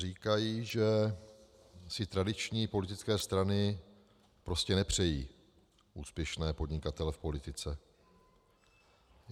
Říkají, že si tradiční politické strany prostě nepřejí úspěšné podnikatele v politice.